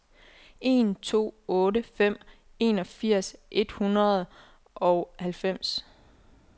en to otte fem enogfirs et hundrede og halvfems